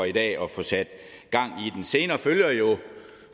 i dag og få sat gang i den senere følger jo